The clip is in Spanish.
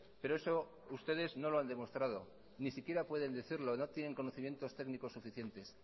pero eso ustedes no lo han demostrado ni siquiera pueden decirlo no tienen conocimientos técnicos suficientes